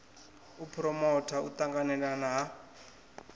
u phuromota u ṱanganelana ha